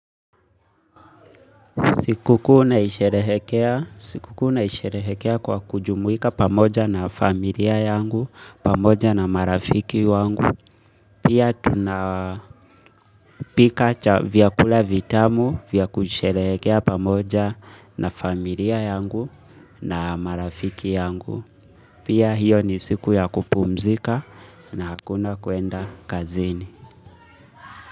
Siku kuu naisherehekea kwa kujumuika pamoja na familia yangu, pamoja na marafiki wangu. Pia tunapika cha vy kula vitamu vya kusherehekea pamoja na familia yangu na marafiki yangu. Pia hiyo ni siku ya kupumzika na hakuna kuenda kazini.